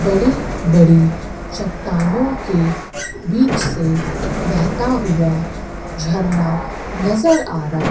बड़ी बड़ी चट्टानों के बीच से बेहता हुआ झरना नज़र आ रहा--